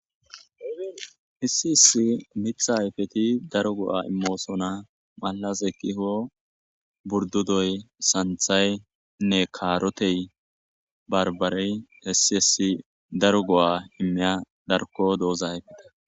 hissi hissi mitha hayfeti daro go'a immoosona malas ekkiho burdudoy santhaynne kaarotey barbarey hissi hessi daro go'a immiya darko dooza ayfeta